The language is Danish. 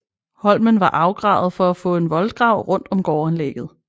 Holmen var afgravet for at få en voldgrav rundt om gårdanlægget